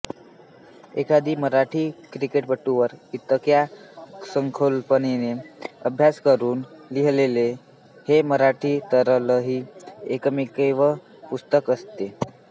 एखाद्या मराठी क्रिकेटपटूवर इतक्या सखोलपणे अभ्यास करून लिहिलेलं हे मराठीतलंही एकमेव पुस्तक असेल